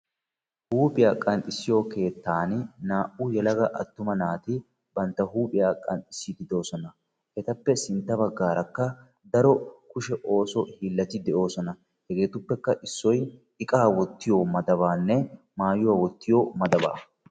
huuphiyaa qanxxissiyo keettan naa"u yelaga attuma naati bantta huuphiyaa qanxxisside beettoosona; etappe sintta baggara daro ooso kushe hiilati de'oosona hegetuppekka issoy iqa wottiyo madabanne maayuwaa wottiyo madaba